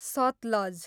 Sutlej